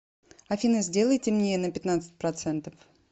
афина сделай темнее на пятнадцать процентов